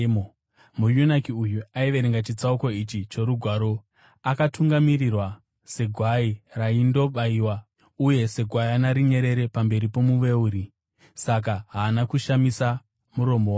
Muyunaki uyu aiverenga chitsauko ichi choRugwaro: “Akatungamirirwa segwai raindobayiwa, uye segwayana rinyerere pamberi pomuveuri, saka haana kushamisa muromo wake.